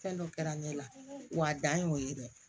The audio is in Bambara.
Fɛn dɔ kɛra ne la wa a dan ye o ye dɛ